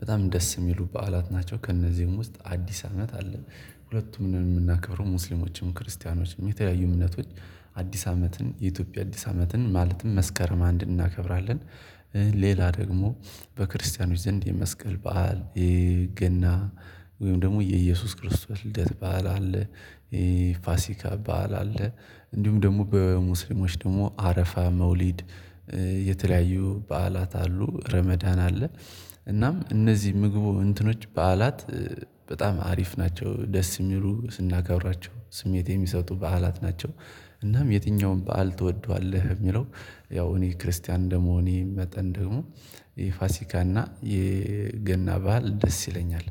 በጣም ደስ የሚሉ በዓላት ናቸው። ከእነዚህም ውስጥ አዲስ አመት አለ። ሁለቱም የምናከብረው ሙስሊሞችም ክርስቲያኖችም የተለያዩ እምነቶች አዲስ አመትን የኢትዮጵያ አዲስ አመትን ማለትም መስከረም አንድን እናከብራለን። ሌላ ደግሞ በክርስቲያኖች ዘንድ የመስቀል በዓል የገና ወይም ደግሞ የኢየሱስ ክርስቶስ ልደት በዓል አለ። ፋሲካ በዓል አለ እንዲሁም ደግሞ በሙስሊሞች ደግሞ አረፋ መውሊድ። የተለያዩ በዓላት አሉ ረመዳን አለ። እናም እነዚህ ምግቡ እንትኖች በዓላት በጣም አሪፍ ናቸው ደስ የሚሉ ስናከብራቸው ስሜት የሚሰጡ በዓላት ናቸው። እናም የትኛውም በዓል ትወደዋለህ የሚለው? ያው እኔ ክርስቲያን እንደመሆኔ መጠን ደግሞ የፋሲካና የገና በዓል ደስ ይለኛል